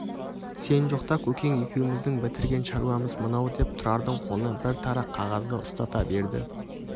сен жоқта көкең екеуміздің бітірген шаруамыз мынау деп тұрардың қолына бір тарақ қағазды ұстата берді